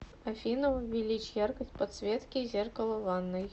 афина увеличь яркость подсветки зеркала в ванной